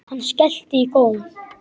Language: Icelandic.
Hann skellti í góm.